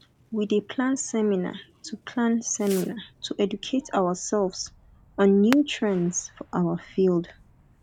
we dey plan seminar to plan seminar to educate ourselves on new trends for our field